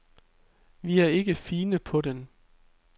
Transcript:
Vi er ikke fine på den.